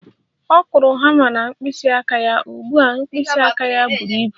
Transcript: Ọ kụrụ hama na mkpịsị aka ya, ugbu a mkpịsị aka ya buru ibu